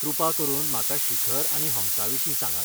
कृपा करून म्हाका शिखर आनी हम्सा विशीं सांगात.